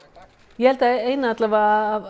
ég held að ein af